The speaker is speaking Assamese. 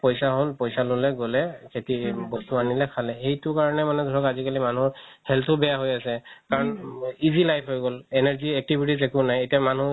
পইচা হ'ল পইচা ল'লে গ'লে খেতি বস্তু আনিলে খালে সেইটো কাৰণে মানে ধৰক আজিকালি মানুহৰ health ও বেয়া হয় আছে কাৰণ easy life হয় গ'ল energy activities একো নাই এতিয়া মানুহ